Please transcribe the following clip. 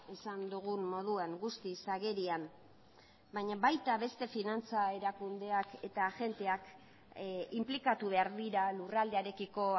esan dugun moduan guztiz agerian baina baita beste finantza erakundeak eta agenteak inplikatu behar dira lurraldearekiko